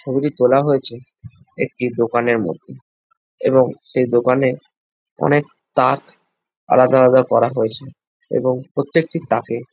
ছবিটি তোলা হইয়াছে একটি দোকানের মধ্যে এবং সেই দোকানে অনেক তাক আলাদা আলাদা করা হয়েছে এবং প্রত্যেকটি তাকে--